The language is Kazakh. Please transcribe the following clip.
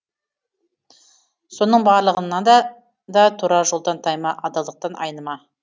соның барлығында да тура жолдан тайма адалдықтан айныма